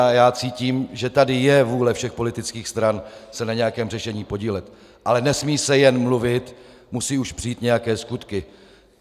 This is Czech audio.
A já cítím, že tady je vůle všech politických stran se na nějakém řešení podílet, ale nesmí se jen mluvit, musí už přijít nějaké skutky.